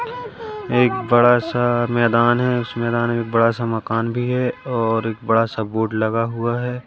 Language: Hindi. एक बड़ा सा मैदान है उस मैदान में बड़ा सा मकान भी है और एक बड़ा सा बोर्ड लगा हुआ है।